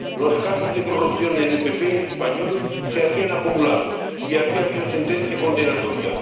Los casos de corrupción en el PP español se habían acumulado, y había habido sentencia condenatoria.